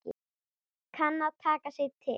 Kann að taka sig til.